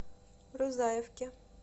рузаевке